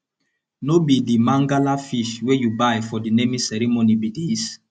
no be the mangala fish wey you buy for the naming ceremony be dis